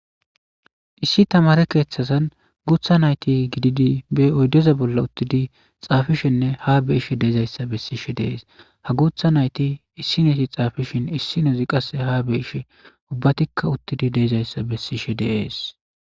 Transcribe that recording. Issi tamare keeththasan guutha nayti gididi be oyddoza bolla uttidi xaafishenne ha be ishshe deezayssa bessishe deees ha guutha nayti issi neeti xaafishin issi nozi qasse ha be ish ubbatikka uttidi deezayssa bessishe deees.